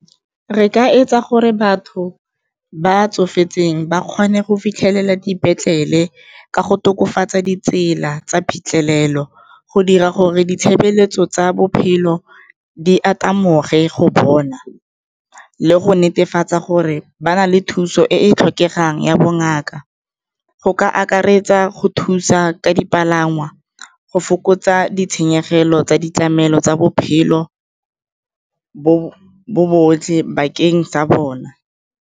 Re ka etsa gore batho ba tsofetseng ba kgone go fitlhelela dipetlele ka go tokafatsa ditsela tsa phitlhelelo, go dira gore ditshebeletso tsa bophelo di go bona le go netefatsa gore ba na le thuso e e tlhokegang ya bongaka, go ka akaretsa go thusa ka dipalangwa, go fokotsa ditshenyegelo tsa ditlamelo tsa bophelo bo botlhe bakeng sa bona.